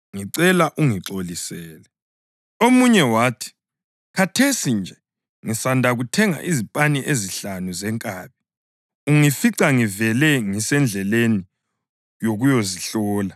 Omunye wathi, ‘Khathesi nje ngisanda kuthenga izipani ezinhlanu zenkabi, ungifica ngivele ngisendleleni yokuyazihlola. Ngicela ungixolisele.’